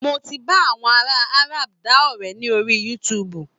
Mo ti bá àwọn ará Arab dá ọ̀rẹ́ ní orí youtube